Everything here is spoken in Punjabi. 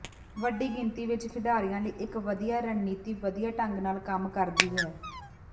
ਵੱਡੀ ਗਿਣਤੀ ਵਿੱਚ ਖਿਡਾਰੀਆਂ ਲਈ ਇੱਕ ਵਧੀਆ ਰਣਨੀਤੀ ਵਧੀਆ ਢੰਗ ਨਾਲ ਕੰਮ ਕਰਦੀ ਹੈ